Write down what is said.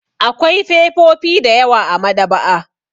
Akwai fefofi da yawa a maɗaba'a.